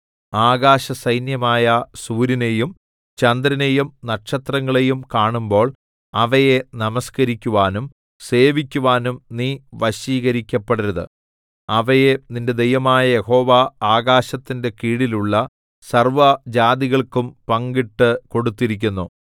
ആകാശസൈന്യമായ സൂര്യനെയും ചന്ദ്രനെയും നക്ഷത്രങ്ങളെയും കാണുമ്പോൾ അവയെ നമസ്കരിക്കുവാനും സേവിക്കുവാനും നീ വശീകരിക്കപ്പെടരുത് അവയെ നിന്റെ ദൈവമായ യഹോവ ആകാശത്തിന്റെ കീഴിലുള്ള സർവ്വജാതികൾക്കും പങ്കിട്ട് കൊടുത്തിരിക്കുന്നു